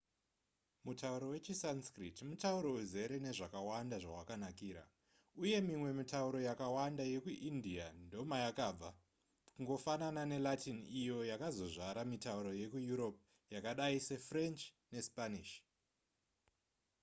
mutauro wechisanskrit mutauro uzere nezvakawanda zvawakanakira uye mimwe mitauro yakawanda yekuindia ndomayakabva kungofanana nelatin iyo yakazozvara mitauro yekueurope yakadai sefrench nespanish